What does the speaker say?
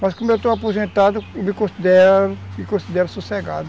Mas como eu estou aposentado, me considero sossegado.